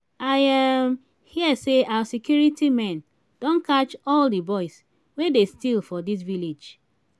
i um hear say our security men don catch all the boys wey dey steal for dis village